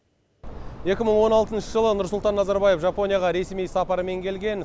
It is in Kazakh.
екі мың он алтыншы жылы нұрсұлтан назарбаев жапонияға ресми сапарымен келген